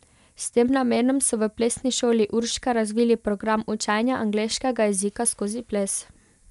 S tem namenom so v Plesni šoli Urška razvili program učenja angleškega jezika skozi ples.